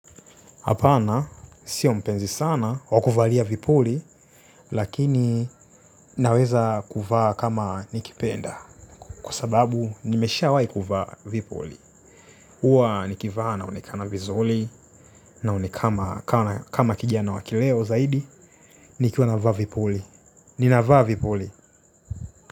Hapana, sio mpenzi sana wakuvalia vipuli, lakini naweza kuvaa kama nikipenda. Kwa sababu, nimesha wai kuvaa vipuli. Huwa nikivaa naonekana vizuri naonekana kama kijana wa kileo zaidi nikiwa na vaa vipuli.